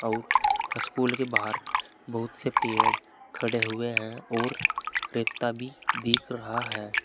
और स्कूल के बाहर बहुत से पेड़ खड़े हुए हैं और रेता भी दिख रहा है।